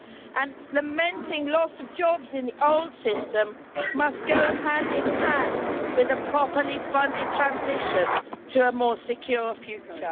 And lamenting the loss of jobs in the old system must go hand in hand with a properly funded transition to a more secure future.